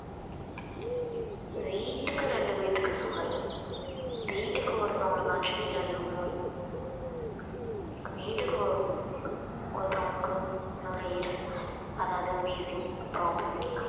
வீட்டுக்கு ரெண்டு பேத்துக்கு sugar ரு வீட்டுக்கு ஒருத்தவங்களுக்காச்சும் நீரிழிவு நோய் வீட்டுக்கு ஒருத்தவங்களுக்கு நுரையீரல் அதாவது wheezing problem